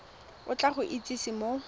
o tla go itsise mo